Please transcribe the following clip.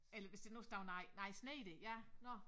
Eller hvis der nu står nej nej sner ja nå